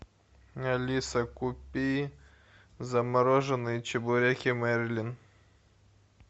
алиса купи замороженные чебуреки мерлин